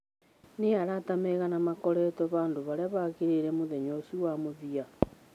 Nĩ arata aigana maakoretwo handũ harĩa haagĩrĩire mũthenya ũcio wa mũthia?